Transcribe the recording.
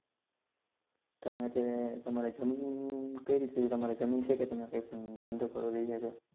તમે કે તમારે જમીન કઈ રીતે છે કે તમારે જમીન છે કે તમેકઈ પણ ધન્ધો કરો